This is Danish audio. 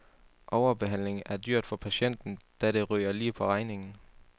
Overbehandling er dyrt for patienten, da det ryger lige på regningen.